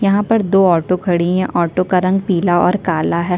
यहाँ पर दो ऑटो खड़ी है ऑटो का रंग पीला और काला हैं।